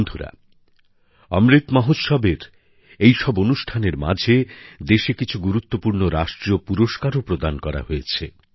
বন্ধুরা অমৃত মহোৎসবের এই সব অনুষ্ঠানের মাঝে দেশে কিছু গুরুত্বপূর্ণ রাষ্ট্রীয় পুরস্কারও প্রদান করা হয়েছে